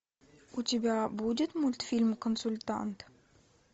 у тебя будет мультфильм консультант